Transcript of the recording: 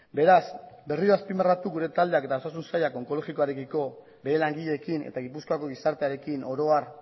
beraz berriro azpimarratu gure taldeak eta osasun sailak onkologikoarekiko bere langileekin eta gipuzkoako gizartearekin oro har